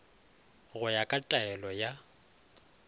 go ya ka taelo ya